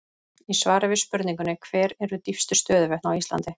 Í svari við spurningunni Hver eru dýpstu stöðuvötn á Íslandi?